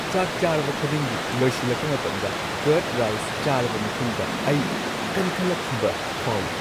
ꯆꯥꯛ ꯆꯥꯔꯕ ꯈꯨꯗꯤꯡꯒꯤ ꯂꯣꯏꯁꯤꯜꯂꯛꯄ ꯃꯇꯝꯗ ꯀꯔꯗ ꯔꯥꯏꯁ ꯆꯥꯔꯕ ꯃꯇꯨꯡꯗ ꯑꯩ ꯀꯟꯈꯠꯂꯛꯈꯤꯕ ꯐꯥꯎꯏ ꯫